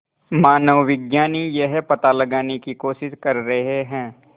मानवविज्ञानी यह पता लगाने की कोशिश कर रहे हैं